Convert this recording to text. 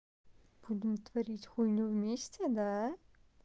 будем творить хуйню вместе да